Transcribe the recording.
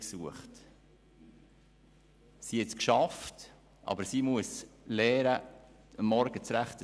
Sie hat es geschafft, aber sie musste lernen, morgens rechtzeitig da zu sein.